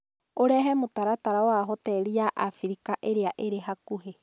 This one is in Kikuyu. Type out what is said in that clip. ũrehe mũtaratara wa hoteli ya Abirika ĩrĩa ĩrĩ hakuhĩ